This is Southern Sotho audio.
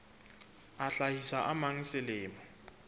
a hlahisa a mang selemo